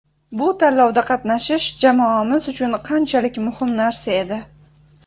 Bu tanlovda qatnashish jamoamiz uchun qanchalik muhim narsa edi.